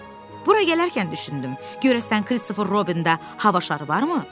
Hə, bura gələrkən düşündüm, görəsən Kristofer Robində hava şarı varmı?